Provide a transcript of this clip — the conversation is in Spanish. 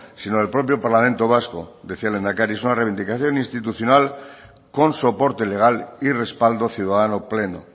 sino del propio parlamento vasco decía el lehendakari es una reivindicación institucional con soporte legal y respaldo ciudadano pleno